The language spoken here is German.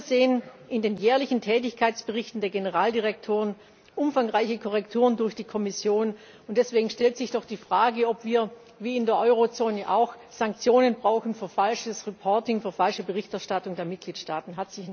Wir sehen in den jährlichen Tätigkeitsberichten der Generaldirektoren umfangreiche Korrekturen durch die Kommission, und deswegen stellt sich doch die Frage, ob wir wie in der Eurozone auch Sanktionen brauchen für falsches Reporting, für falsche Berichterstattung der Mitgliedstaaten.